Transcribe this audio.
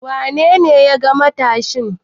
Wane ne ya yaga matashin?